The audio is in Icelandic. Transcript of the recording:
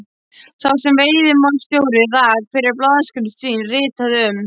sá sem veiðimálastjóri rak fyrir blaðaskrif sín, ritaði um